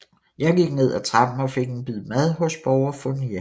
Jeg gik ned ad trappen og fik en bid mad hos borger Fournier